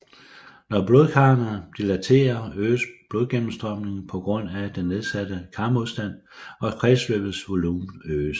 Når blodkarrene dilaterer øges blodgennemstrømningen på grund af den nedsatte karmodstand og kredsløbets volumen øges